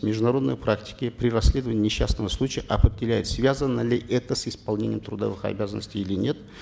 в международной практике при расследовании несчастного случая определяет связано ли это с исполнением трудовых обязанностей или нет